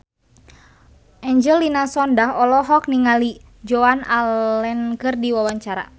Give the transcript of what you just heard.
Angelina Sondakh olohok ningali Joan Allen keur diwawancara